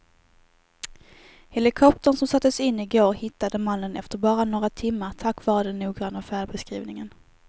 Helikoptern som sattes in i går hittade mannen efter bara några timmar tack vare den noggranna färdbeskrivningen.